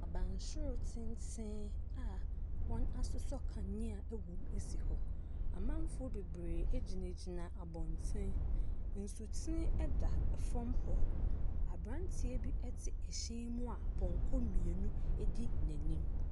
Abansoro tenten a wɔasosɔ kanea wom si hɔ. Amanfoɔ bebree gyinagyina abɔnten. Nsutene da fam hɔ. Aberanteɛ bi te hyɛn mu a pɔnkɔ mmienu di n'anim.